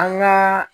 An gaa